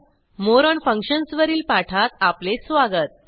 More on functions वरील पाठात आपले स्वागत